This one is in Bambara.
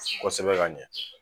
Kosɛbɛ ka ɲɛ